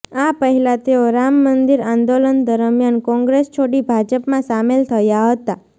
આ પહેલા તેઓ રામ મંદિર આંદોલન દરમ્યાન કોંગ્રેસ છોડી ભાજપમાં સામેલ થયા હતા